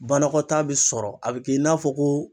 Banakɔtaa bi sɔrɔ a bi kɛ i n'a fɔ ko.